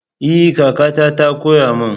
Ee! kakata ta koya min.